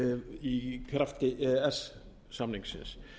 í krafti e e s samningsins